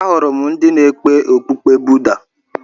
Ahụrụ m ndị na-ekpe okpukpe Buda.